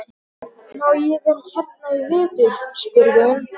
Má ég vera hérna í vetur? spurði hún.